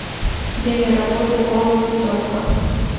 время работы голод и тетка